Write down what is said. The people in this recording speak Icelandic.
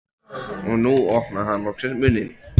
Og nú opnaði hann loksins munninn.